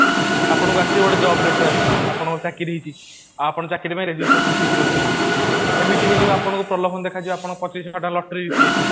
ଆପଣଙ୍କୁ ଆସିଛି ଗୋଟେ job letter ଆସିବ ଆପଣଙ୍କ ଚାକିରୀ ହେଇଚି ଆପଣ ଚାକିରୀ ପାଇଁ ରେଜିଷ୍ଟ୍ରସନ ଫୀସ ଗୋଟେ ଦିଅନ୍ତୁ ଏମିତି ହେଇଯିବ ଆପଣଙ୍କୁ ପ୍ରଲୋଭନ ଦେଖାଯିବ ଆପଣଙ୍କ ପଚିଶ ଟଙ୍କା lottery ଜିତି ଯାଇଛନ୍ତି